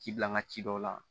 Ci bila n ka ci dɔw la